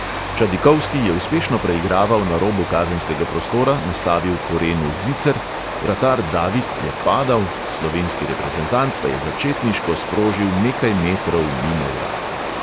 Čadikovski je uspešno preigraval na robu kazenskega prostora, nastavil korenu "zicer", vratar david je padal, slovenski reprezentant pa je začetniško sprožil nekaj metrov mimo vrat.